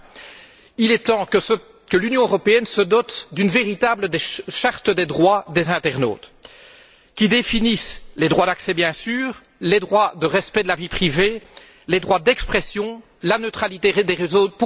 Enfin, il est temps que l'Union européenne se dote d'une véritable charte des droits des internautes qui définisse les droits d'accès, bien sûr, les droits de respect de la vie privée, les droits d'expression, la neutralité des réseaux.